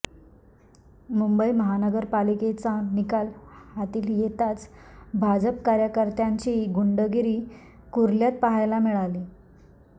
मुंबई महानगरपालिकेचा निकाल हाती येताच भाजप कार्यकर्त्यांची गुंडगिरी कुर्ल्यात पाहायला मिळाली